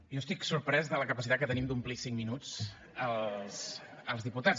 jo estic sorprès de la capacitat que tenim d’omplir cinc minuts els diputats